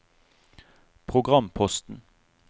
programposten